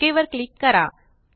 okay वर click करा